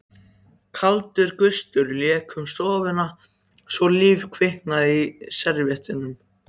Kaldur gustur lék um stofuna svo líf kviknaði í servíettunum.